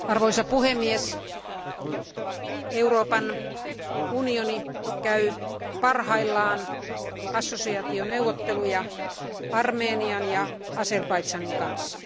Arvoisa puhemies, Euroopan unioni käy parhaillaan assosiaationeuvotteluja Armenian ja Azerbaidžanin kanssa.